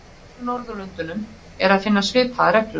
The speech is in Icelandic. Á hinum Norðurlöndunum er að finna svipaðar reglur.